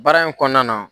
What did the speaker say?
Baara in kɔnɔna na